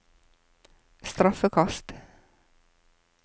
straffekast